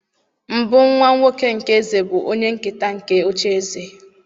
mbụ nwa-nwoke nke eze bụ onye-nketa nke oche-eze.